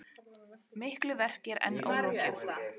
Miklu verki er enn ólokið